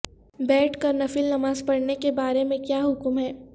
بیٹھ کر نفل نماز پڑھنے کے بارے میں کیا حکم ہے